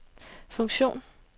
funktion